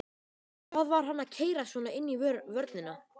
Hvað var hann að keyra svona inn í vörnina?